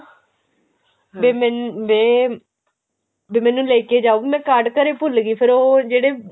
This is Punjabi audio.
ਵੇ ਮੈਨੂੰ ਵੇ ਮੈਨੂੰ ਲੇਕੇ ਜਾਓ ਵੀ ਮੈਂ card ਘਰੇ ਭੁੱਲ ਗਈ ਫੇਰ ਉਹ ਜਿਹੜੇ